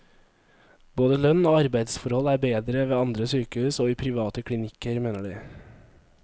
Både lønn og arbeidsforhold er bedre ved andre sykehus og i private klinikker, mener de.